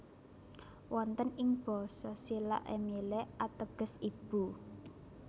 Wonten ing Basa Silla Emille ateges ibu